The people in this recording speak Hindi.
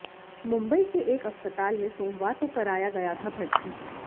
मुंबई के एक अस्पताल में सोमवार को कराया गया था भर्ती